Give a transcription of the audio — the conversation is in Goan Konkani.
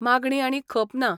मागणी आनी खप ना.